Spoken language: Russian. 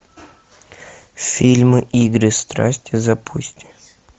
фильм игры страсти запусти